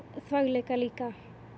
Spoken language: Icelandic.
þvagleka líka